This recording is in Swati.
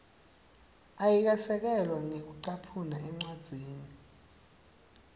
ayikasekelwa ngekucaphuna encwadzini